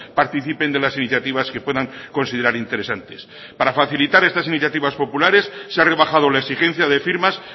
participen de las iniciativas que puedan considerar interesantes para facilitar estas iniciativas populares se ha rebajado la exigencia de firmas